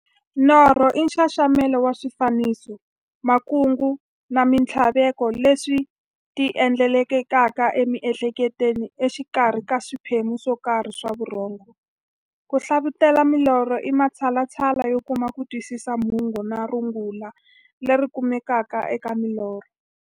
Norho i nxaxamelo wa swifaniso, makungu na minthlaveko leswi ti endlekelaka e mi'hleketweni exikarhi ka swiphemu swokarhi swa vurhongo. Ku hlavutela milorho i matshalatshala yo kuma kutwisisa mungo na rungula leri nga kumekaka eka milorho.